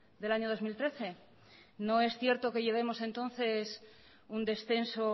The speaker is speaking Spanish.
del año dos mil trece no es cierto que llevemos entonces un descenso